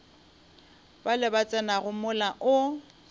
bale ba tsenago mola o